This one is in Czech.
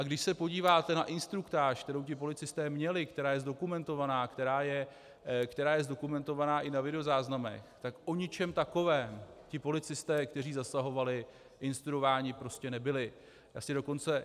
A když se podíváte na instruktáž, kterou ti policisté měli, která je zdokumentovaná, která je zdokumentovaná i na videozáznamech, tak o něčem takovém ti policisté, kteří zasahovali, instruováni prostě nebyli.